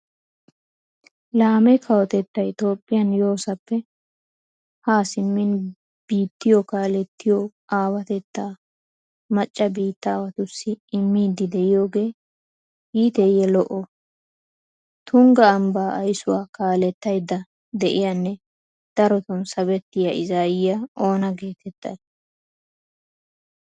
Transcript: Laame kawotettay toophphiyan yoosappe Haa simmin biittiyo kaalettiyo aawatettaa macca biittawatussi immiiddi de'iyogee iiteeyyee lo"oo? Tungga ambbaa aysuwa kaalettaydda de'iyanne darotun sabettiya izaayiya oona geetettay?